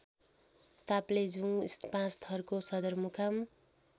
ताप्लेजुङ पाँचथरको सदरमुकाम